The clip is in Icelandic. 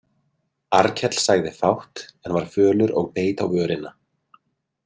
Arnkell sagði fátt en var fölur og beit á vörina.